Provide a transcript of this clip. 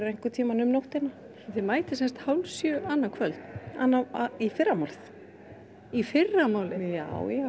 einhvern tímann um nóttina þið mætið sem sagt hálf sjö annað kvöld í fyrramálið í fyrramálið já já